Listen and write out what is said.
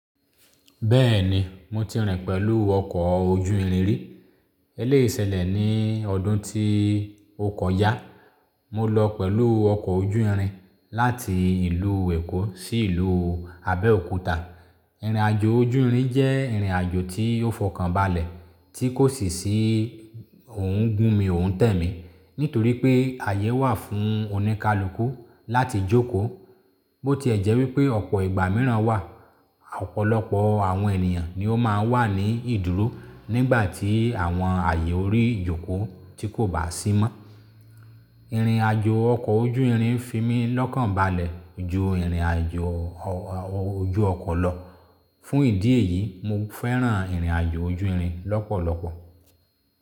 Bẹ́ẹ̀ni, mo ti rìn pẹ̀lú ọkọ̀ ojú irin rí. Eléyì ṣẹlẹ̀ ní ọdún tí ọkoja. Mo lọ pẹ̀lú ọkọ̀ ojú irin láti ìlú Èkó sí ìlú Abẹ́òkúta. Ìrìnàjò ojú irin jẹ́ ìrìnàjò tí ó fọkànbalẹ̀ tí kò sì ṣí òun gún mi, òún tẹ̀ mí nítorí pé àyè wà fún oníkálukú láti jókòó. Bó tí ẹ jẹ́ wípé ọ̀pọ̀ ìgbà míràn wà, ọ̀pọ̀lọpọ̀ àwọn ènìyàn ni ó máa ń wà ní ìdúró nígbà tí àwọn àyè orí jókòó tí kò bá sí mọ́. Ìrìnàjò ọkọ̀ ojú irin fi mi lọ́kànbalẹ̀ ju ìrìnàjò ojú ọkọ̀ lọ. Fún ìdí èyí, mo fẹ́ràn ìrìnàjò ojú irin lọ́pọ̀lọpọ̀.